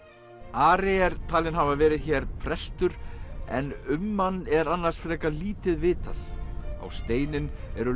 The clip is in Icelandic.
Ari er talinn hafa verið hér prestur en um hann er annars frekar lítið vitað á steininn eru